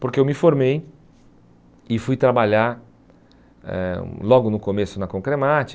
Porque eu me formei e fui trabalhar eh logo no começo na Concremat.